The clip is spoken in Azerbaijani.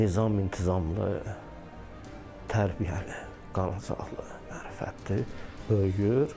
Nizam intizamlı, tərbiyəli, qanaacaqlı, mərifətli böyüyür.